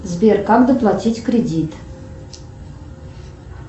сбер как доплатить кредит